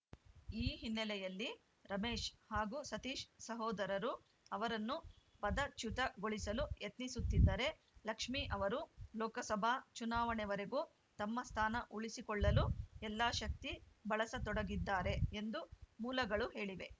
ಈ ಹಿನ್ನೆಲೆಯಲ್ಲಿ ರಮೇಶ್‌ ಹಾಗೂ ಸತೀಶ್‌ ಸಹೋದರರು ಅವರನ್ನು ಪದಚ್ಯುತಗೊಳಿಸಲು ಯತ್ನಿಸುತ್ತಿದ್ದರೆ ಲಕ್ಷ್ಮೀ ಅವರು ಲೋಕಸಭಾ ಚುನಾವಣೆವರೆಗೂ ತಮ್ಮ ಸ್ಥಾನ ಉಳಿಸಿಕೊಳ್ಳಲು ಎಲ್ಲಾ ಶಕ್ತಿ ಬಳಸತೊಡಗಿದ್ದಾರೆ ಎಂದು ಮೂಲಗಳು ಹೇಳಿವೆ